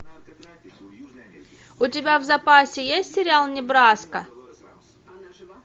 у тебя в запасе есть сериал небраска